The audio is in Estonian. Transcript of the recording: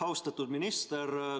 Austatud minister!